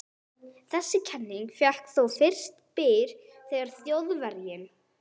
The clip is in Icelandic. Þessi kenning fékk þó fyrst byr þegar Þjóðverjinn